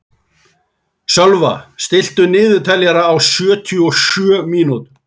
Sölva, stilltu niðurteljara á sjötíu og sjö mínútur.